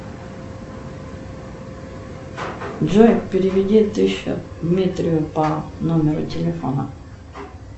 джой переведи тысячу дмитрию по номеру телефона